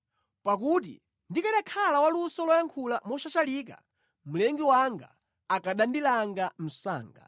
pakuti ndikanakhala wa luso loyankhula moshashalika, Mlengi wanga akanandilanga msanga.”